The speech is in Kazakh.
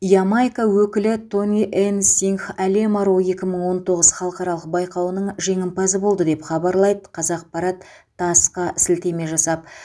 ямайка өкілі тони энн сингх әлем аруы екі мың он тоғыз халықаралық байқауының жеңімпазы болды деп хабарлайды қазақпарат тасс қа сілтеме жасап